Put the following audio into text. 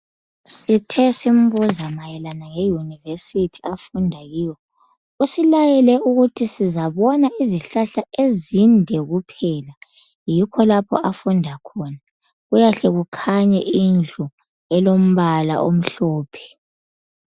Sithe simbuza mayelana nge University afunda kuyo. Usilayele ukuthi sizabona izihlahla ezinde kuphela. Yikho lapho afunda khona. Kuyahle kukhanye indlu elombala omhlophe.